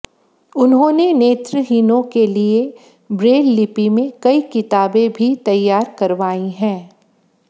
उन्होंने नेत्रहीनों के लिए ब्रेल लिपि में कई किताबें भी तैयार करवाई हैं